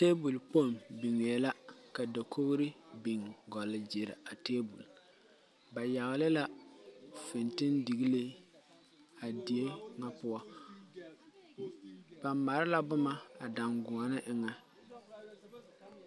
Tabol kpong bingɛɛ la ka dakouri a bin gul geeree a tabol ba yagle la fintindiglii a deɛ nga puo ba mare la buma a danguoni nga enga.